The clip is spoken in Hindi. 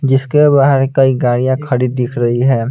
जिसके बाहर कई गाड़ियां खड़ी दिख रही है।